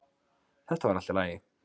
Þetta var allt í lagi